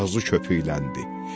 Ağzı köpükləndi.